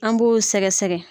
An b'o sɛgɛsɛgɛ